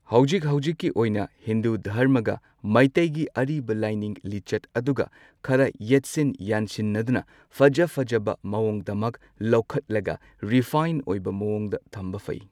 ꯍꯧꯖꯤꯛ ꯍꯧꯖꯤꯛꯀꯤ ꯑꯣꯏꯅ ꯍꯤꯟꯗꯨ ꯙꯔꯃꯒ ꯃꯩꯇꯩꯒꯤ ꯑꯔꯤꯕ ꯂꯥꯏꯅꯤꯡ ꯂꯤꯆꯠ ꯑꯗꯨꯒ ꯈꯔ ꯌꯦꯠꯁꯤꯟ ꯌꯥꯟꯁꯤꯟꯅꯗꯨꯅ ꯐꯖ ꯐꯖꯕ ꯃꯑꯣꯡꯗꯃꯛ ꯂꯧꯈꯠꯂꯒ ꯔꯤꯐꯥꯏꯟ ꯑꯣꯏꯕ ꯃꯑꯣꯡꯗ ꯊꯝꯕ ꯐꯩ꯫